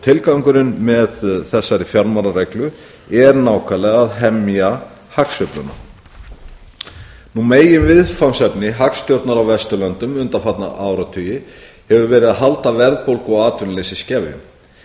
tilgangurinn með þessari fjármálareglu er nákvæmlega að hemja hagsveifluna meginviðfangsefni hagstjórnar á vesturlöndum undanfarna áratugi hefur verið að halda verðbólgu og atvinnuleysi í skefjum